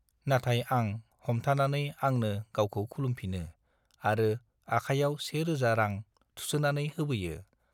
नाथाय आं हमथानानै आंनो गावखौ खुलुमफिनो आरो आखायाव से रोजा रां थुसोनानै होबोयो।